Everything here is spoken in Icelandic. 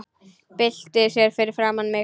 Byltir sér fyrir framan mig.